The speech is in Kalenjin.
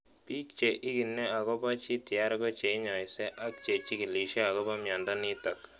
Piik che ingine akopo GTR ko che inyaise ak che chig�lishe akopo miondo nitok